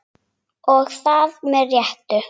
Og það með réttu.